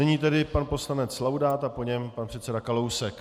Nyní tedy pan poslanec Laudát a po něm pan předseda Kalousek.